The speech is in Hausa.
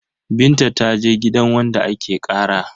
Binta ta je gidan wanda ake ƙara.